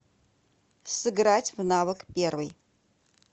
сыграть в навык первый